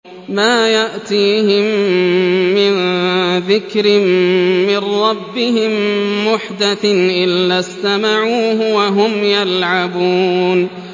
مَا يَأْتِيهِم مِّن ذِكْرٍ مِّن رَّبِّهِم مُّحْدَثٍ إِلَّا اسْتَمَعُوهُ وَهُمْ يَلْعَبُونَ